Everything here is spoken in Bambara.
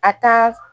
A ka